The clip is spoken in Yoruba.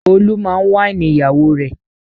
Olú máa wáìnì ìyàwó rẹ̀